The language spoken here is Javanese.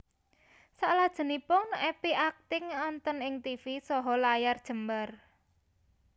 Salajengipun Epy akting wonten ing tivi saha layar jembar